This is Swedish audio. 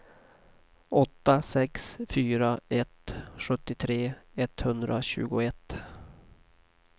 åtta sex fyra ett sjuttiotre etthundratjugoett